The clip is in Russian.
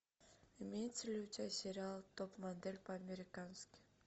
имеется ли у тебя сериал топ модель по американски